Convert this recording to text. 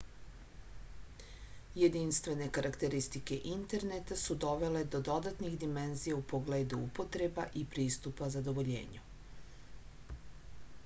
jedinstvene karakteristike interneta su dovele do dodatnih dimenzija u pogledu upotreba i pristupa zadovoljenju